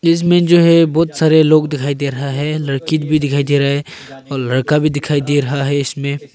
इसमें जो हैं बहुत सारे लोग दिखाई दे रहा हैं लड़की भी दिखाई दे रहा हैं और लड़का भी दिखाई दे रहा हैं इसमें।